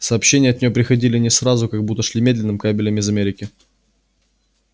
сообщения от неё приходили не сразу как будто шли медным кабелем из америки